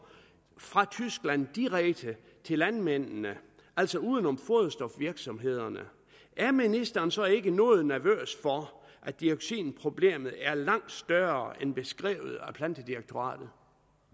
fra tyskland direkte til landmændene altså uden om foderstofvirksomhederne er ministeren så ikke noget nervøs for at dioxinproblemet er langt større end beskrevet af plantedirektoratet